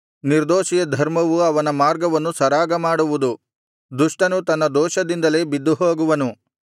ನಿರ್ದೋಷಿಯ ಧರ್ಮವು ಅವನ ಮಾರ್ಗವನ್ನು ಸರಾಗಮಾಡುವುದು ದುಷ್ಟನು ತನ್ನ ದೋಷದಿಂದಲೇ ಬಿದ್ದುಹೋಗುವನು